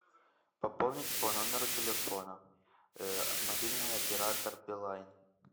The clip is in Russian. пополнить по номеру телефона мобильный оператор билайн